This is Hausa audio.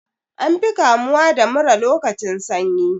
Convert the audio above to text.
An fi kamuwa da mura lokacin sanyi.